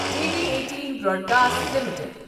T V eighteen broadcast limited